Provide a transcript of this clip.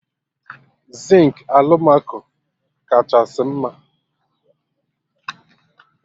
Zinkị alụmaco kachasị mma